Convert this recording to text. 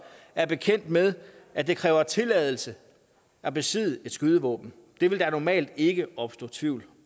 er bekendt med at det kræver tilladelse at besidde et skydevåben det vil der normalt ikke opstå tvivl